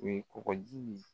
U kɔkɔ ji